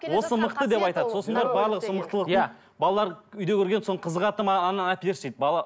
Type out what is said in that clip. осы мықты деп айтады сосын барып барлығы сол мықтылықтың балалары үйде көрген соны қызығады да маған ананы әперші дейді бала